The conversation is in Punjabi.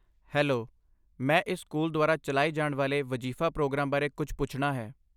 ਹੈਲੋ, ਮੈਂ ਇਸ ਸਕੂਲ ਦੁਆਰਾ ਚਲਾਏ ਜਾਣ ਵਾਲੇ ਵਜ਼ੀਫ਼ਾ ਪ੍ਰੋਗਰਾਮ ਬਾਰੇ ਕੁਝ ਪੁੱਛਣਾ ਹੈ।